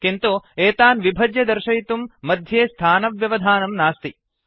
किन्तु एतान् विभज्य दर्शयितुं मध्ये स्थानव्यवधानं नास्ति